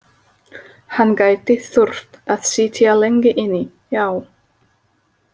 Hann gæti þurft að sitja lengi inni, já.